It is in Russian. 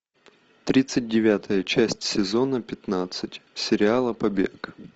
тридцать девятая часть сезона пятнадцать сериала побег